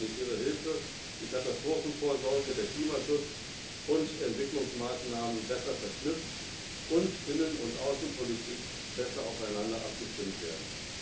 die humanitäre Hilfe, die Katastrophenvorsorge, der Klimaschutz und Entwicklungsmaßnahmen besser verknüpft und Innen und Außenpolitik besser aufeinander abgestimmt werden.